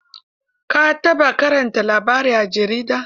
Ka taɓa karanta labari a jarida?